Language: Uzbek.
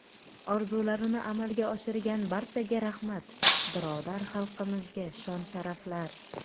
Orzularini amalga oshirgan barchaga rahmat, birodar xalqlarimizga shon-sharaflar.